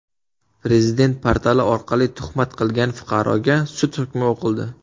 Prezident portali orqali tuhmat qilgan fuqaroga sud hukmi o‘qildi.